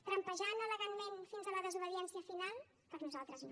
trampejant elegantment fins a la desobediència final per nosaltres no